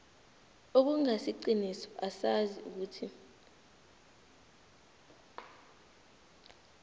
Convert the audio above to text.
okungasiqiniso asazi ukuthi